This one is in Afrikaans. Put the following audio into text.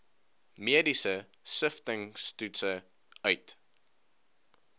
mediese siftingstoetse uit